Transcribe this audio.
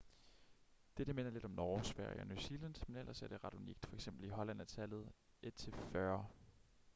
dette minder lidt om norge sverige og new zealand men ellers er det ret unikt f.eks. i holland er tallet et til fyrre